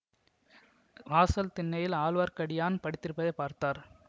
வாசல் திண்ணையில் ஆழ்வார்க்கடியான் படுத்திருப்பதைப் பார்த்தார்